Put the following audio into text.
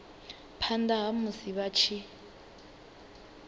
phanḓa ha musi vha tshi